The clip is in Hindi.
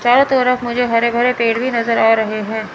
चारो तरफ मुझे हरे भरे पेड़ भी नजर आ रहे हैं।